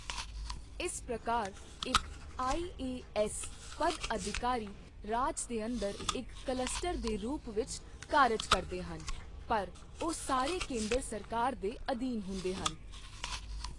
ਇਸ ਪ੍ਰਕਾਰ ਇੱਕ ਆਈ.ਏ.ਐੱਸ. ਪਦਅਧਿਕਾਰੀ ਰਾਜ ਦੇ ਅੰਦਰ ਇੱਕ ਕਲੱਸਟਰ ਦੇ ਰੂਪ ਵਿੱਚ ਕਾਰਜ ਕਰਦੇ ਹਨ ਪਰ ਉਹ ਸਾਰੇ ਕੇਂਦਰ ਸਰਕਾਰ ਦੇ ਅਧੀਨ ਹੁੰਦੇ ਹਨ।